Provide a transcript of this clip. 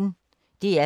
DR P1